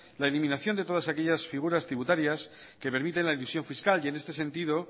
la eliminación de todas aquellas figuras tributarias que permiten la instrusión fiscal y en este sentido